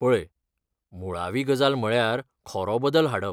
पळय, मुळावी गजाल म्हळ्यार खरो बदल हाडप.